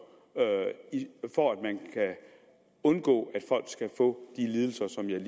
for at undgå at folk får de lidelser som jeg